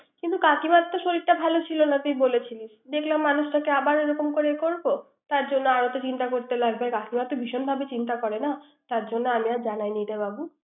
কিন্তু কাকিমার শরীরটা ভালো ছিল না তুই বলেছিলি। দেখলাম মানুষটাকে আবার এরকম করে করব। তার জন্য আর এত চিন্তা করতে লাগবে। কাকিমা তো ভিশনভাবে চিন্তা করে না। তার জন্য আমি আর জানাই নাই বাপু।